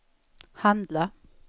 handla